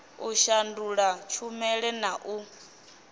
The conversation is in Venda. u shandula tshumela na u